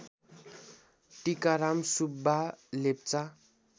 Tikaram Subba Lepcha